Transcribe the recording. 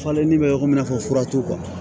Falenni bɛ yɔrɔ min i n'a fɔ fura t'u